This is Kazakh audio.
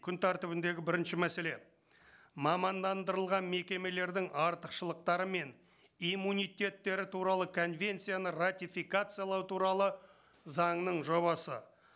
күн тәртібіндегі бірінші мәселе мамандандырылған мекемелердің артықшылықтары мен иммунитеттері туралы конвенцияны ратификациялау туралы заңның жобасы